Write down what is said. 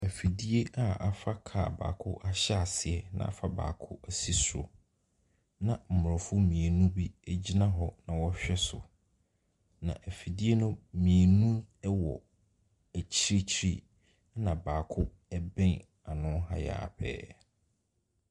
Afidie a afa kaa baako ahyɛ aseɛ, na afa baako asi so. Na Mmorɔfop mmienu bigyina hɔ nawɔrehwɛ so. Na afidie no mmienu wɔ Akyirikyiri, ɛna baako bɛn ano ha yi ara pɛɛ.